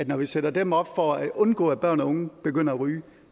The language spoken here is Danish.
når vi sætter dem op for at undgå at børn og unge begynder at ryge